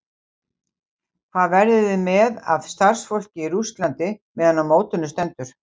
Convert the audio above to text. Hvað verðið þið með af starfsfólki í Rússlandi meðan á mótinu stendur?